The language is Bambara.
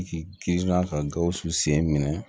K'i kilan ka gawusu sen minɛ